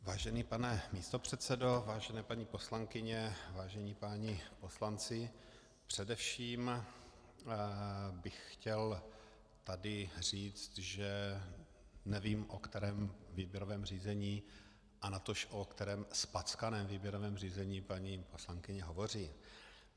Vážený pane místopředsedo, vážené paní poslankyně, vážení páni poslanci, především bych chtěl tady říct, že nevím, o kterém výběrovém řízení a natož o kterém zpackaném výběrovém řízení paní poslankyně hovoří.